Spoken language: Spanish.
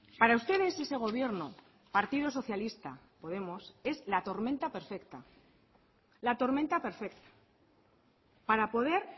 para ustedes ese gobierno partido socialista podemos es la tormenta perfecta la tormenta perfecta para poder